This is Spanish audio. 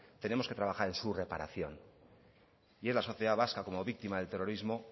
tenemos que trabajar en su reparación y es la sociedad vasca como víctima del terrorismo